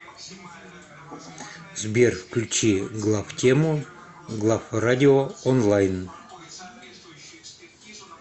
сбер включи главтему главрадио онлайн